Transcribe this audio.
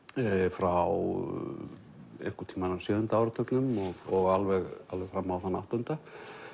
frá einhvern tímann á sjöunda áratugnum og alveg alveg fram á þann áttunda